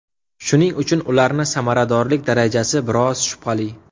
Shuning uchun ularni samaradorlik darajasi biroz shubhali.